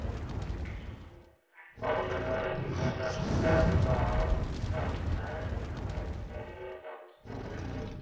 Áður hafði Gunnar særða átta menn en vegið þá tvo.